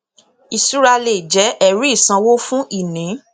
ìṣura lè jẹ ẹríìsanwó fún ìní